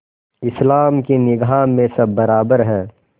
इस्लाम की निगाह में सब बराबर हैं